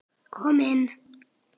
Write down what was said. Kom inn